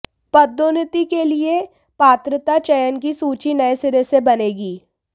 पदोन्नति के लिए पात्रता चयन की सूची नए सिरे से बनेगी